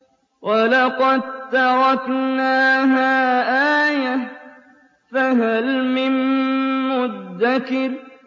وَلَقَد تَّرَكْنَاهَا آيَةً فَهَلْ مِن مُّدَّكِرٍ